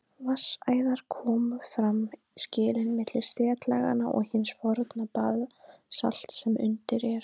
Vatnsæðar komu fram við skilin milli setlaganna og hins forna basalts sem undir er.